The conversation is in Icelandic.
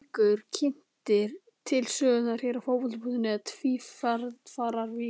Í hverri viku eru kynntir til sögunnar hér á Fótbolti.net Tvífarar vikunnar.